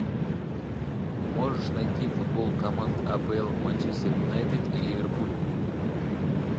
можешь найти футбол команд апл манчестер юнайтед и ливерпуль